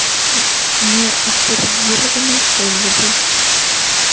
неавторизованный пользователь